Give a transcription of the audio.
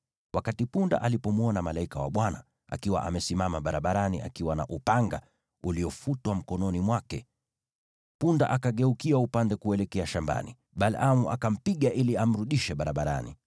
Wakati punda alipomwona malaika wa Bwana akiwa amesimama barabarani akiwa na upanga uliofutwa mkononi mwake, punda akageukia upande kuelekea shambani. Balaamu akampiga ili amrudishe barabarani.